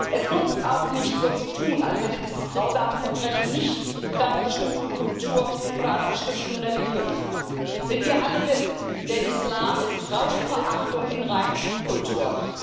Es nutzt auch nichts, so zu tun, als hätte dieses grausame Verbrechen nichts mit einer bestimmten Kultur oder einer bestimmten Religion zu tun, denn wir alle wissen Der Islam ist Frauenverachtung in Reinkultur.